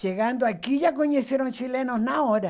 Chegando aqui, já conheceram chilenos na hora.